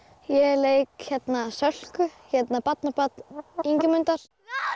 ég leik Sölku barnabarn Ingimundar